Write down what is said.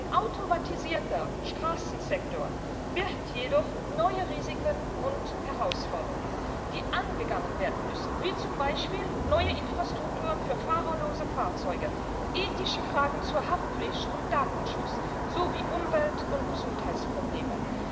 Ein automatisierter Straßensektor birgt jedoch neue Risiken und Herausforderungen, die angegangen werden müssen, wie zum Beispiel neue Infrastrukturen für fahrerlose Fahrzeuge, ethische Fragen zu Haftpflicht und Datenschutz sowie Umwelt und Gesundheitsprobleme.